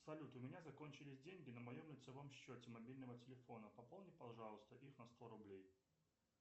салют у меня закончились деньги на моем лицевом счете мобильного телефона пополни пожалуйста их на сто рублей